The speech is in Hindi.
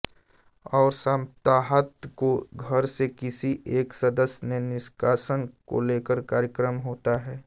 और साप्ताहांत को घर से किसी एक सदस्य के निष्कासन को लेकर कार्यक्रम होता है